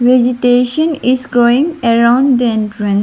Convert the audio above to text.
Vegetation is growing around the entran --